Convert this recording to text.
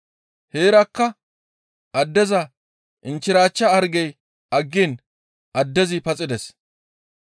Heerakka addeza inchchirachcha hargey aggiin addezi paxides.